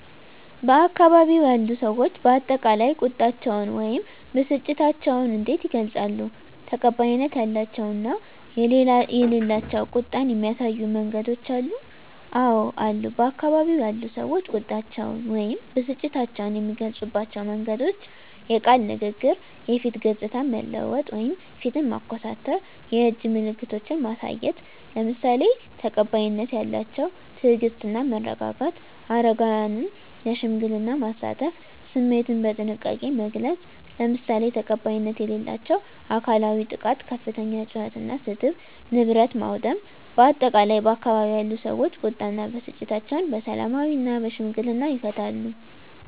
በአካባቢው ያሉ ሰዎች በአጠቃላይ ቁጣቸውን ወይም ብስጭታቸውን እንዴት ይገልጻሉ? ተቀባይነት ያላቸው እና የሌላቸው ቁጣን የሚያሳዩ መንገዶች አሉ? *አወ አሉ፦ በአካባቢው ያሉ ሰዎች ቁጣቸውን ወይም ብስጭታቸውን የሚገልጹባቸው መንገዶች፦ * የቃል ንግግር *የፊት ገጽታን መለወጥ (ፊትን ማኮሳተር)፣ *የእጅ ምልክቶችን ማሳየት፣ **ለምሳሌ፦ ተቀባይነት ያላቸው * ትዕግስት እና መረጋጋት: * አረጋውያንን ለሽምግልና ማሳተፍ።: * ስሜትን በጥንቃቄ መግለጽ: **ለምሳሌ፦ ተቀባይነት የሌላቸው * አካላዊ ጥቃት * ከፍተኛ ጩኸት እና ስድብ: * ንብረት ማውደም: በአጠቃላይ፣ ባካባቢው ያሉ ሰዎች ቁጣ እና ብስጭታቸውን በሰላማዊና በሽምግልና ይፈታሉ።